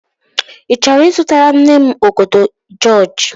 Ị chọrọ ịzụtara nne m ọgọdọ jịọjị?